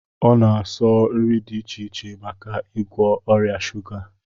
O na-asọ nri dị iche iche maka igwọ ọrịa shuga